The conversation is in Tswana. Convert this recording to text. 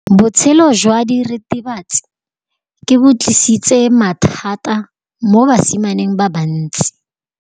Botshelo jwa diritibatsi ke bo tlisitse mathata mo basimaneng ba bantsi.